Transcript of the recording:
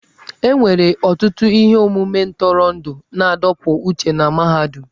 E nwere ọtụtụ ihe omume ntụrụndụ na-adọpụ uche na mahadum.